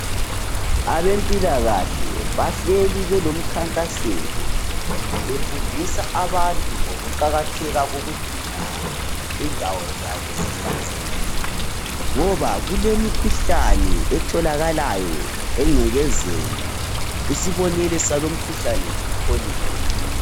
Abempilakahle bahlezi belemkhankaso, befundisa abantu ngokuqakatheka kokugcina indawo zabo zihlanzekile, ngoba kulemikhuhlane etholakalayo engcekezeni, isibonelo salumkhuhlane yi kholera.